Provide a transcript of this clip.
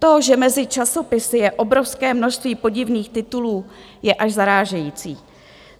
To, že mezi časopisy je obrovské množství podivných titulů, je až zarážející.